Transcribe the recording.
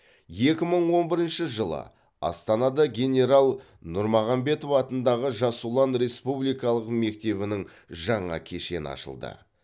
екі мың он бірінші жылы астанада генерал нұрмағамбетов атындағы жас ұлан республикалық мектебінің жаңа кешені ашылды